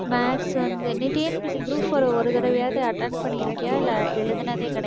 maths வந்து நீ TNPSC group four அ ஒரு தடவையாவது attend பண்ணியிருக்கியா இல்ல எழுதினதே கிடையாதா?